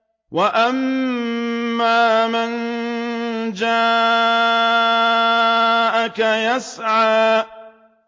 وَأَمَّا مَن جَاءَكَ يَسْعَىٰ